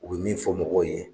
U bi min fɔ mɔgɔw ye